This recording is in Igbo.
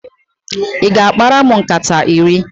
Ị ga-akpara m nkata iri?